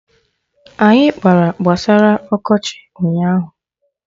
Anyị kpara gbasara ọkọchị ụnyaahụ